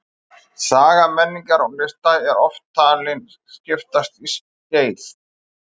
Saga menningar og lista er oft talin skiptast í skeið.